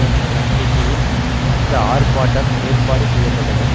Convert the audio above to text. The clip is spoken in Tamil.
என்ற நம்பிக்கையில் அந்த ஆர்ப்பாட்டம் ஏற்பாடு செய்ய பட்டது